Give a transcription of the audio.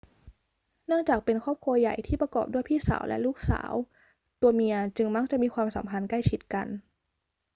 เนื่องจากเป็นครอบครัวใหญ่ที่ประกอบด้วยพี่สาวและลูกสาว ตัวเมียจึงมักจะมีความสัมพันธ์ใกล้ชิดกัน